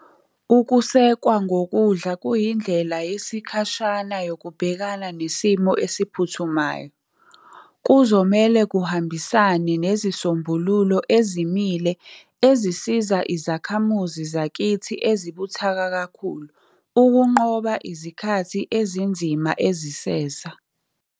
Ukusekwa ngokudla kuyindlela yesikhashana yokubhekana nesimo esiphuthumayo. Kuzomele kuhambisane nezisombululo ezimile ezisiza izakhamuzi zakithi ezibuthaka kakhulu ukunqoba izikhathi ezinzima eziseza.